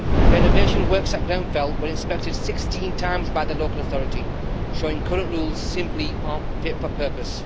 Renovation works at Grenfell were inspected 16 times by the local authority, showing current rules simply aren't fit for purpose.